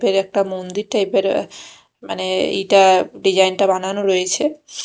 ভিতরে একটা মন্দির টাইপ -এর মানে এইটা ডিজাইন -টা বানানো রয়েছে।